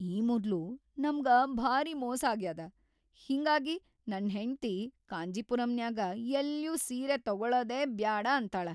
ಈ ಮೊದ್ಲು ನಮ್ಗ ಭಾರೀ ಮೋಸಾಗ್ಯಾದ‌, ಹಿಂಗಾಗಿ ನನ್‌ ಹೆಂಡ್ತಿ ಕಾಂಜಿಪುರಂನ್ಯಾಗ ಎಲ್ಲ್ಯೂ ಸೀರಿ ತೊಗೊಳದೇ ಬ್ಯಾಡ ಅಂತಾಳ.